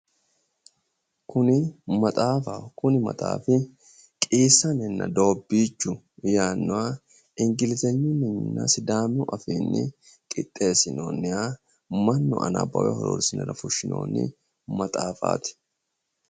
Kuni maxaafaho. Kuni maxaafi qiissanenna doobbichu yaannoha ingilizenyuninna sidamu afiinni qixeessinooonniha mannu anabbawe horoonsirara fushshinoonni maxafaati.